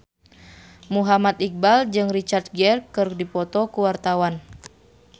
Muhammad Iqbal jeung Richard Gere keur dipoto ku wartawan